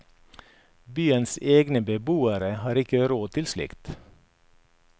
Byens egne beboere har ikke råd til slikt.